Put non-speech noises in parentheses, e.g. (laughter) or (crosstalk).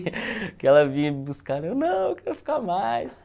Porque ela vinha me buscar (unintelligible) não, eu quero ficar mais.